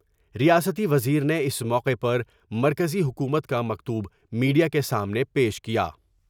ریاستی وزیر نے اس موقع پر مرکزی حکومت کا مکتوب میڈیا کے سامنے پیش کیا ۔